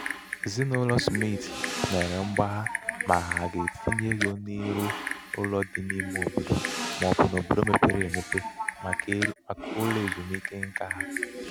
ezinaụlọ smit mere mgbagha ma ha ga-etinye ego n'ịrụ ụlọ n'ime obodo ma ọ bụ n'obodo mepere mepere emepe màkà ụlọ ezumike nka ha.